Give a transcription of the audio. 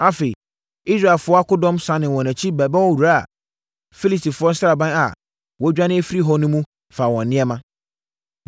Afei, Israelfoɔ akodɔm sane wɔn akyi bɛbɔ wuraa Filistifoɔ sraban a wɔadwane afiri hɔ no mu faa wɔn nneɛma.